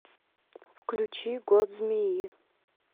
включи год змеи